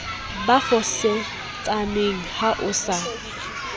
ba fosetsaneng ha o sa